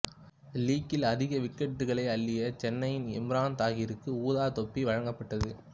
லீக்கில் அதிக விக்கெட்டுகளைப் அள்ளிய சென்னையின் இம்ரான் தாஹிருக்கு ஊதா தொப்பி வழங்கப்பட்டது